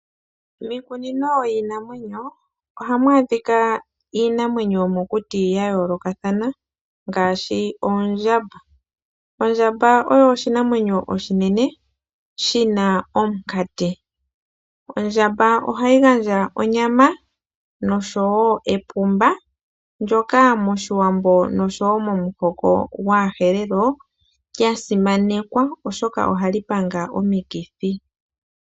Miikununo yiinanwenyo ohamu adhika iinamwenyo yomukuti yayoolokathana ngaashi oondjamba . Ondjamba oyo oshinamwenyo oshinene shina omukati. Ondjamba ohayi gandja onyama noshowoo epumba ndyoka momuhoko gAawambo oshowoo gwAaherero lyasimanekwa molwaashoka ohali panga omikithi.